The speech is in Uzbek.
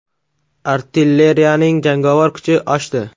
Artilleriyaning jangovar kuchi oshdi.